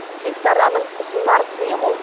сүйікті арнаның ұсынар сыйы мол